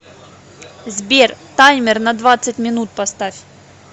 сбер таймер на двадцать минут поставь